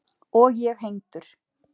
Og ég hengdur.